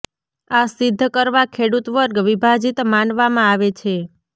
આ સિદ્ધ કરવા ખેડૂત વર્ગ વિભાજિત માનવામાં આવે છે